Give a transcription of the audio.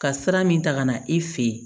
Ka sira min ta ka na i fɛ yen